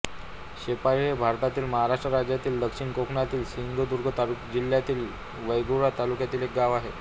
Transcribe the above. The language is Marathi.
शेळपी हे भारतातील महाराष्ट्र राज्यातील दक्षिण कोकणातील सिंधुदुर्ग जिल्ह्यातील वेंगुर्ला तालुक्यातील एक गाव आहे